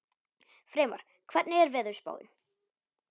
Freymar, hvernig er veðurspáin?